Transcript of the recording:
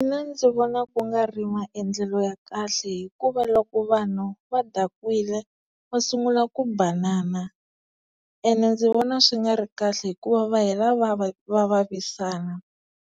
Mina ndzi vona ku nga ri maendlelo ya kahle hikuva loko vanhu va dakwile va sungula ku banana, ene ndzi vona swi nga ri kahle hikuva va hela va va va vavisana